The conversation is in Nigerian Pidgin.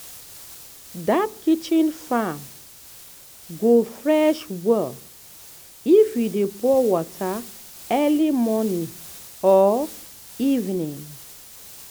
that kitchen farm go fresh well if you dey pour water early morning or evening.